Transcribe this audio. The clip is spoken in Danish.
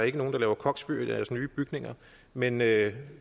ikke nogen der laver koksfyr i deres nye bygninger men det